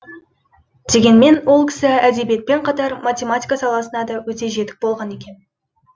дегенмен ол кісі әдебиетпен қатар математика саласына да өте жетік болған екен